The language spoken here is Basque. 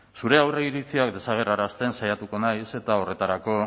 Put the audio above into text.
zure aurreiritziak desagerrarazten saiatuko naiz eta horretarako